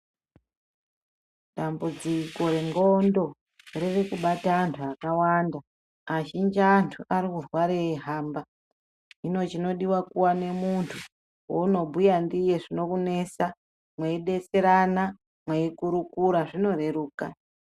Dambudziko rendxondo riri kubata antu akawanda. Azhinji antu ari kurwara eihamba hino chinodiwa kuwane muntu waunobhuya ndiye zvinokunesa mweidetserana mweikurukura zvinoreruka.